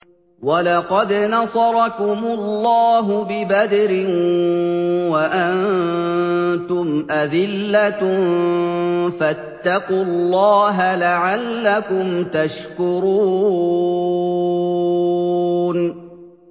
وَلَقَدْ نَصَرَكُمُ اللَّهُ بِبَدْرٍ وَأَنتُمْ أَذِلَّةٌ ۖ فَاتَّقُوا اللَّهَ لَعَلَّكُمْ تَشْكُرُونَ